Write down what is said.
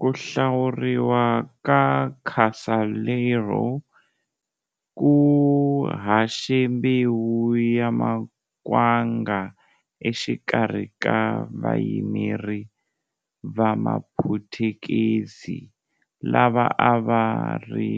Ku hlawuriwa ka Casaleiro ku haxe mbewu ya makwanga exikarhi ka vayimeri va maphutukezi lava a va ri